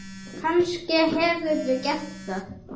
Kannske hefurðu gert það.